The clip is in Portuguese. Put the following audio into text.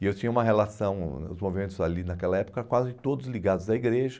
E eu tinha uma relação, os movimentos ali naquela época, quase todos ligados à igreja,